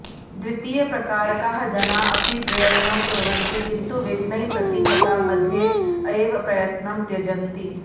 द्वितीयप्रकारकाः जनाः अपि प्रयत्नं कुर्वन्ति किन्तु विघ्नैः प्रतिहताः मध्ये एव प्रयत्नं त्यजन्ति